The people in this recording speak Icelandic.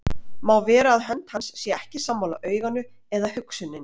Má vera að hönd hans sé ekki sammála auganu eða hugsuninni.